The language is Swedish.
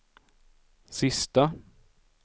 sista